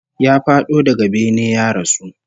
Ya fado daga bene ya rasu